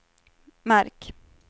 märk